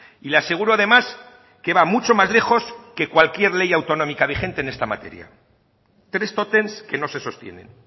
y le aseguro además que va mucho más lejos que cualquier ley autonómica vigente en esta materia tres tótems que no se sostienen